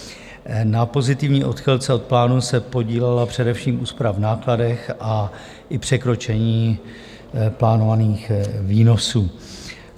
Na pozitivní odchylce od plánu se podílela především úspora v nákladech a i překročení plánovaných výnosů.